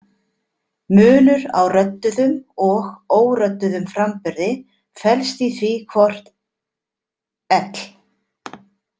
Munur á rödduðum og órödduðum framburði felst í því hvort l.